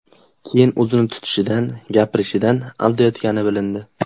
Keyin o‘zini tutishidan, gapirishidan aldayotgani bilindi.